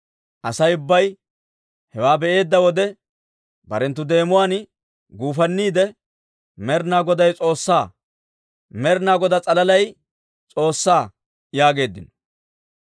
Asay ubbay hewaa be'eedda wode, barenttu deemuwaan guufanniide, «Med'inaa Goday S'oossaa! Med'inaa Godaa s'alaalay S'oossaa!» yaageeddino.